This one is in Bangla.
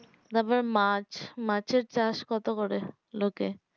তারপর মাছ মাছের চাষ কত করে লোকে